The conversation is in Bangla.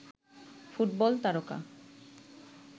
ফুটবল তারকা